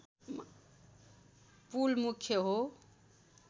पुल मुख्य हो